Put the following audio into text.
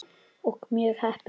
Og mjög heppin!